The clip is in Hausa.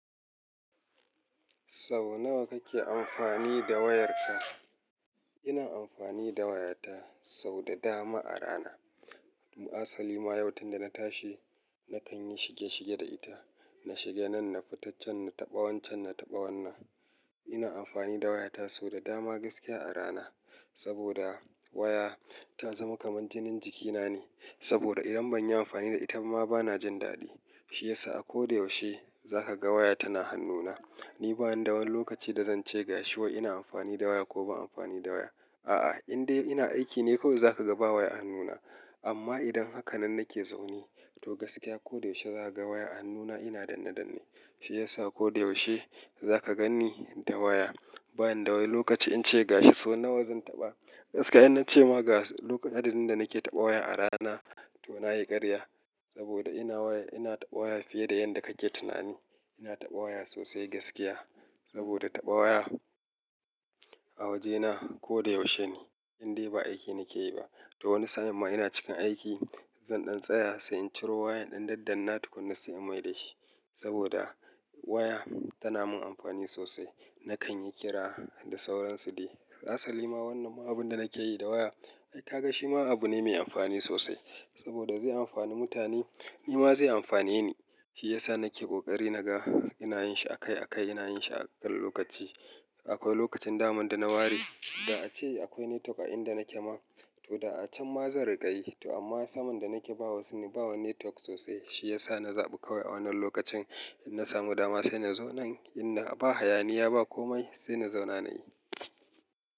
Sau nawa kake amfani da wayarka? Ina amfani da wayata sau da dama a rana. Asali ma, yau tun da na tashi nakan yi shige shige da ita. Na shiga nan, na fita can, na taɓa wancen, na taɓa wannan. Ina amfani da wayata sau da dama gaskiya a rana saboda waya ta zama kaman jinin jikina ne. Saboda idan ban yi amfani da ita ma bana jin daɗi. Shi yasa a ko da yaushe za ka ga waya tana hannuna. Ni bani da wani lokaci da zan ce gashi wa ina amfani da waya ko ban amfani da waya. A'a, in dai ina aiki ne kawai za ka ga ba waya a hannuna. Amma idan hakanan nake zaune, to gaskiya ko da yaushe za ka ga waya a hannuna ina dannadanne. Shi yasa ko da yaushe za ka gani da waya. Ba ni da wani lokaci in ce gashi so nawa zan taɓa. Gaskiya in na ce ma ga adadin da nake taɓa waya a rana to na yi ƙarya. Saboda ina waya-- ina taɓa waya fiye da yanda kake tunani. Ina taɓa waya sosai gaskiya. Saboda taɓa waya a wajena ko da yaushe ne. In dai ba aiki nake yi ba. To wani sa'in ma ina cikin aiki, zan ɗan tsaya sai in ciro waya in ɗan daddanna tukuna sai in maida shi. Saboda waya tana min amfani sosai. Nakan yi kira da sauransu dai. Asali ma wannan ma abun da nake yi da waya, ai ka ga shi ma abu ne mai amfani sosai. Saboda zai amfani mutane, ni ma zai amfane ni. Shi yasa nake ƙoƙari naga ina yin shi akai akai, ina yin shi a kan lokaci. Akwai lokacin daman da na ware, da ace akwai network a inda nake ma, to da a can ma zan riƙa yi. To amma saman da nake bawa sune, bawa network sosai. Shi yasa na zaɓi kawai a wannan lokacin idan na samu dama sai na zo nan. In ba hayaniya ba komai sai na zauna na yi.